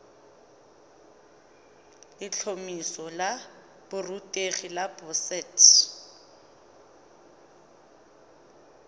letlhomeso la borutegi la boset